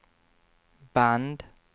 band